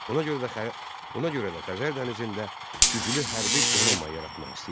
Ona görə də Xəzər dənizində güclü hərbi donanma yaratmaq istəyirdi.